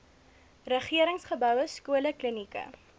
regeringsgeboue skole klinieke